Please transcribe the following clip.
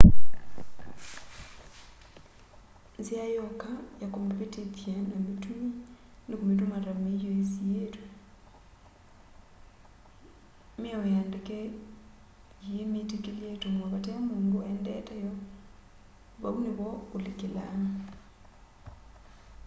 nzia yoka ya kumivitithya na mitumi ni kumituma ta miio isiitwe miao ya ndeke yiimitikilya itumwe vate mundu aendete yo vau nivo ulikilaa